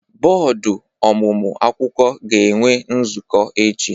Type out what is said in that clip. Bọọdụ ọmụmụ akwụkwọ ga-enwe nzukọ echi.